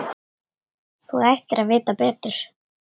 Þú ættir að vita betur.